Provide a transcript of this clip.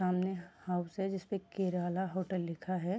सामने हाउस है जिस पे केराला होटल लिखा है।